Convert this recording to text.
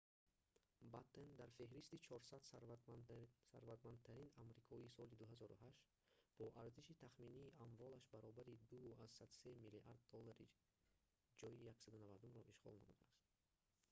баттен дар феҳристи 400 сарватмандтарин амрикоӣ соли 2008 бо арзиши тахминии амволаш баробари 2,3 миллиард доллар ҷойи 190-умро ишғол намудааст